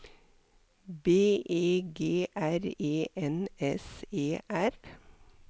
B E G R E N S E R